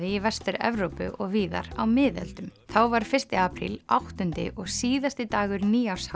í Vestur Evrópu og víðar á miðöldum þá var fyrsti apríl áttundi og síðasti dagur